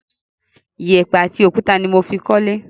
Iyẹ̀pẹ̀ àti òkúta ni mo fi kólé.